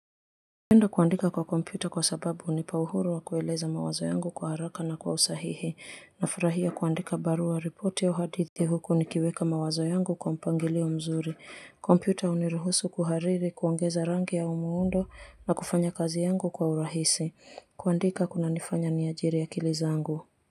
Napenda kuandika kwa kompyuta kwa sababu hunipa uhuru wa kueleza mawazo yangu kwa haraka na kwa usahihi. Nafurahia kuandika barua ripoti au hadithi huku nikiweka mawazo yangu kwa mpangilio mzuri. Kompyuta huniruhusu kuhariri, kuongeza rangi au muundo na kufanya kazi yangu kwa urahisi. Kuandika kunanifanya niajiri akili zangu.